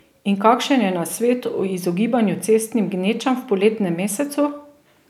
In kakšen je nasvet o izogibanju cestnim gnečam v poletnem mesecu?